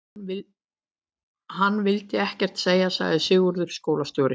Hann vill ekkert segja, sagði Sigurður skólastjóri.